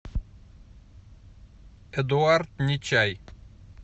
эдуард нечай